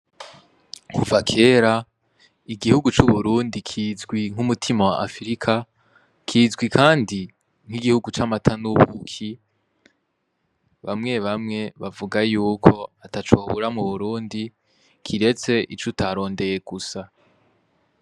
Kuva kera igihugu c'uburundi kizwi nk'umutima wa afrika kizwi, kandi nk'igihugu c'amata n'ubuki bamwe bamwe bavuga yuko atacobura mu burundi kiretse ico utarondeye gusa.